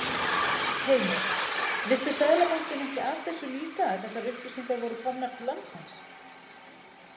Heimir: Vissi Seðlabankinn ekki af þessu líka að þessar upplýsingar voru komnar til landsins?